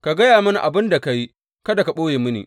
Ka gaya mini abin da ka yi; kada ka ɓoye mini.